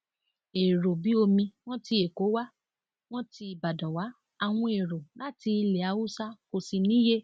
èrò bíi omi wọn tí èkó wá wọn ti ìbàdàn wá àwọn èrò láti ilẹ haúsá kò sì níye